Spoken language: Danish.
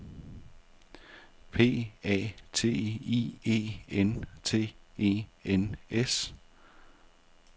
P A T I E N T E N S